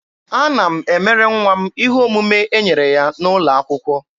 Ana m emere nwa m ihe omume e nyere ya n'ụlọ akwụkwọ.